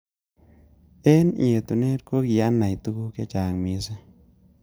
Eng etunet kokianai tuku chechang missing.